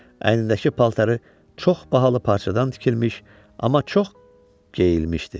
Əynindəki paltarı çox bahalı parçadan tikilmiş, amma çox geyilmişdi.